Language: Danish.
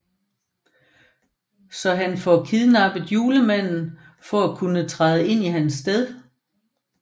Så han får kidnappet Julemanden for at kunne træde i hans sted